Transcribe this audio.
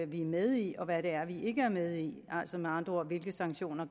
vi er med i og hvad det er vi ikke er med i altså med andre ord hvilke sanktioner